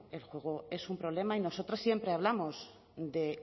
bueno el juego es un problema y nosotras siempre hablamos de